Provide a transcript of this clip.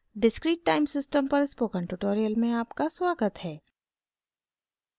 discrete time system पर spoken tutorial में आपका स्वागत है